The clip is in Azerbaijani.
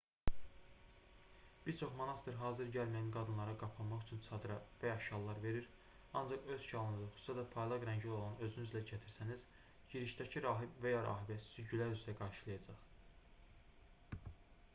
bir çox monastır hazır gəlməyən qadınlara qapanmaq üçün çadra və ya şallar verir ancaq öz şalınızı xüsusilə də parlaq rəngli olanı özünüzlə gətirsəniz girişdəki rahib və ya rahibə sizi gülər üzlə qarşılayacaq